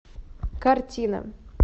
картина